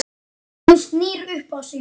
Hún snýr upp á sig.